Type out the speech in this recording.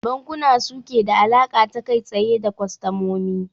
Bankuna suke da alaƙa ta kai tsaye da kwastamomi